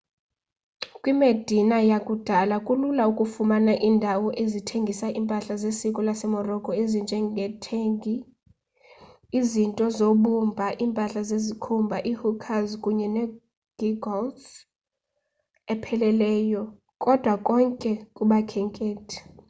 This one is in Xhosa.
kwimedina yakudala kulula ukufumana iindawo ezithengisa iimpahla zesiko lasemorocco ezinje ngeethegi izinto zobumba iimpahla zesikhumba iihookahs kunye negeegaws epheleleyo kodwa konke kubakhenkethi